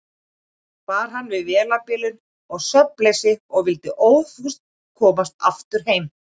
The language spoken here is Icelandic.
Bar hann við vélarbilun og svefnleysi og vildi óðfús komast heim aftur.